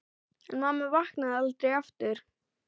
En mamma vaknaði aldrei aftur.